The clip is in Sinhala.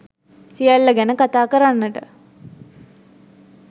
සියල්ල ගැන කතා කරන්නට